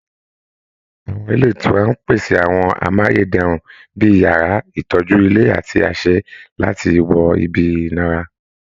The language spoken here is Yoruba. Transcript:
Àwọn ilé ìtura ń pèsè àwọn amáyé dẹrùn bí i yàrá, ìtọ́jú ilé àti àṣẹ láti wọ ibi ìnara